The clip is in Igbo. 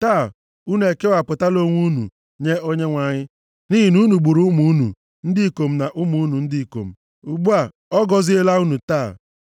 “Taa, unu ekewapụtala onwe unu nye Onyenwe anyị. Nʼihi na unu gburu ụmụ unu ndị ikom na ụmụnne unu ndị ikom. Ugbu a, ọ gọziela unu taa.”